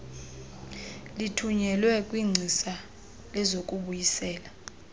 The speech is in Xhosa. kuthunyelwa kwingcisa lezokubuyisela